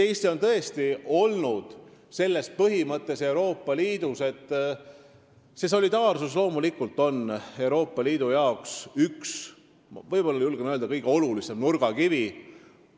Eesti on tõesti jaganud seda põhimõtet Euroopa Liidus – solidaarsus on Euroopa Liidu jaoks, julgen öelda, kõige olulisem nurgakivi.